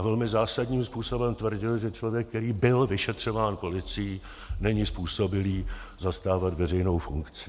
A velmi zásadním způsobem tvrdil, že člověk, který byl vyšetřován policií, není způsobilý zastávat veřejnou funkci.